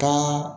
Kan